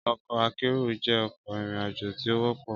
Ọkọ akero jẹ ọkọ irin-ajo ti o wọpọ